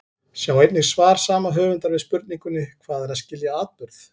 Sjá einnig svar sama höfundar við spurningunni Hvað er að skilja atburð?